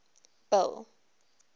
bill